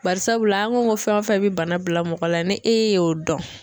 Barisabula an ko ko fɛn o fɛn bɛ bana bila mɔgɔ la ni e y'o dɔn.